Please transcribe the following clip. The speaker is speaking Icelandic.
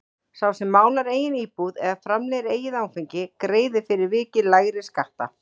Sá sem málar eigin íbúð eða framleiðir eigið áfengi greiðir fyrir vikið lægri skatta.